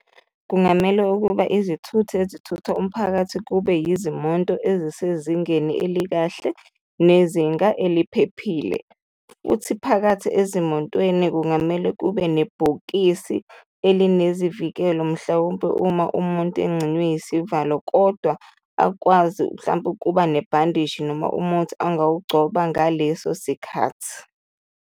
Kungamele ukuba izithuthi ezithutha umphakathi kube izimonto ezisezingeni elikahle nezinga eliphephile futhi phakathi ezimontweni kungamele kube nebhokisi elinezivikelo, mhlawumbe uma umuntu engxinywe isivalo kodwa akwazi mhlawumbe ukuba nebandishi noma umuthi angawugcoba ngaleso sikhathi.